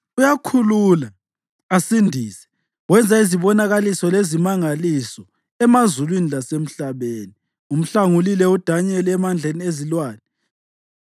Uyakhulula, asindise; wenza izibonakaliso lezimangaliso emazulwini lasemhlabeni. Umhlangulile uDanyeli emandleni ezilwane.”